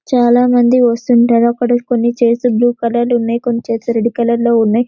చాలా మంది వస్తుంటారు అక్కడ కొన్ని చైర్స్ బ్లూ కలర్ లో ఉన్నాయి కొన్ని చైర్స్ రెడ్ కలర్ లో ఉన్నాయి --